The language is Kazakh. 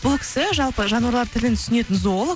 бұл кісі жалпы жануарлар тілін түсінетін зоолог